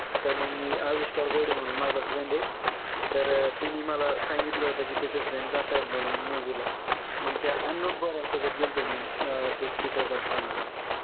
त मंग मी अविष्कार घोडे म्हणून माझा friend आहे तर अं त्यांनी मला सांगितलं होत की त्याचे friend जात आहे म्हणून movie ला मंग त्या unknown पोरांसोबत गेलतो मी अं ते चित्रपट पाहण्या करता